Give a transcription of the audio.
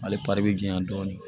Ale pari bɛ jiyan dɔɔnin